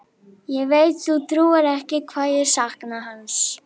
Ég veit þú trúir ekki hvað ég sakna hans.